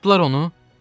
Tuddular onu.